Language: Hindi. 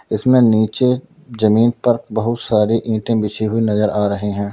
इसमें नीचे जमीन पर बहुत सारी ईंटे बिछी हुई नजर आ रही हैं।